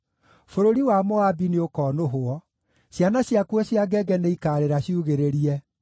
Bũrũri wa Moabi nĩũkonũhwo: ciana ciakuo cia ngenge nĩikaarĩra ciugĩrĩirie.